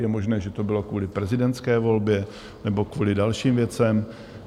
Je možné, že to bylo kvůli prezidentské volbě nebo kvůli dalším věcem.